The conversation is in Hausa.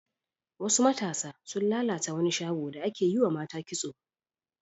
Wasu matasa sun lalata wani shago da ake yiwa mata kitso.